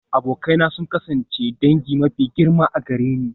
Abokai na sun kasance dangi mafi girma a gare ni.